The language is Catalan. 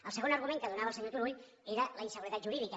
el segon argument que donava el senyor turull era la inseguretat jurídica